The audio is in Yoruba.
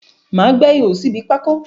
Má a gbẹ́ ihò síbi pákó